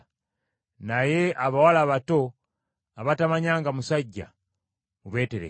Naye abawala abato abatamanyanga musajja, mubeeterekere.